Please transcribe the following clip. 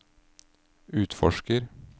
utforsker